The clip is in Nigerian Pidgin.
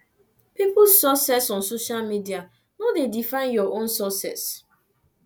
peoples success on social media no dey define your own success